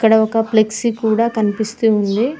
ఈడ ఒక ఫ్లెక్సీ కూడా కనిపిస్తూ ఉంది.